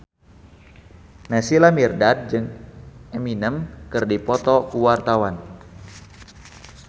Naysila Mirdad jeung Eminem keur dipoto ku wartawan